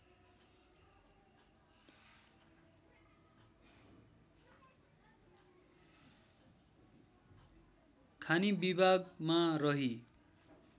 खानी विभागमा रही